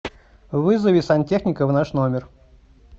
вызови сантехника в наш номер